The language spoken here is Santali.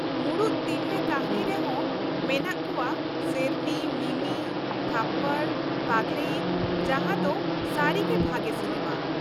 ᱢᱩᱲᱩᱫ ᱛᱤᱨᱞᱟ. ᱠᱟ.ᱦᱱᱤ ᱨᱮᱦᱚᱸ ᱢᱮᱱᱟᱜ ᱠᱚᱣᱟ ᱥᱮᱨᱱᱤ, ᱢᱤᱢᱤ, ᱛᱷᱚᱯᱯᱚᱲ, ᱯᱟᱜᱞᱮᱭᱤᱛ ᱡᱟᱦᱟᱸ ᱫᱚ ᱥᱟ.ᱨᱤᱜᱮ ᱵᱷᱟᱜᱮ ᱥᱤᱱᱮᱢᱟ ᱾